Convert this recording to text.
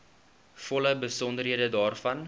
volle besonderhede daarvan